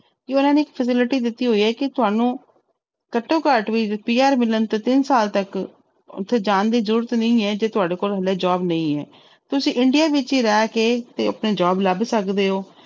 ਕਿ ਉਹਨਾਂ ਨੇ facility ਦਿੱਤੀ ਹੋਈ ਹੈ ਕਿ ਤੁਹਾਨੂੰ ਘੱਟੋ ਘੱਟ ਵੀ PR ਮਿਲਣ ਤੇ ਤਿੰਨ ਸਾਲ ਤੱਕ ਉੱਥੇ ਜਾਣ ਦੀ ਜ਼ਰੂਰਤ ਨਹੀਂ ਹੈ ਜੇ ਤੁਹਾਡੇ ਕੋਲ ਹਾਲੇ job ਨਹੀਂ ਹੈ ਤੁਸੀਂ india ਵਿੱਚ ਹੀ ਰਹਿ ਕੇ ਤੇ job ਲੱਭ ਸਕਦੇ ਹੋ।